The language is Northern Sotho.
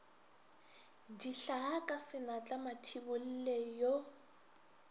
dihlaa ka senatla mathibolle yo